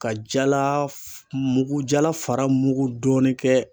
Ka jala mugu jala fara mugu dɔɔni kɛ